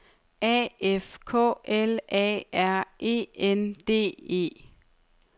A F K L A R E N D E